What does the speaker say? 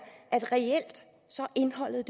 at indholdet